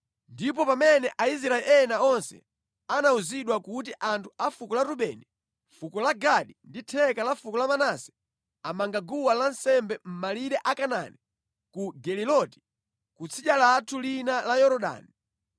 Ndipo pamene Aisraeli ena onse anawuzidwa kuti anthu a fuko la Rubeni, fuko la Gadi ndi theka la fuko la Manase amanga guwa lansembe mʼmalire a Kanaani ku Geliloti, ku tsidya lathu lino la Yorodani,